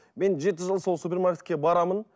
мен жеті жыл сол супермаркетке барамын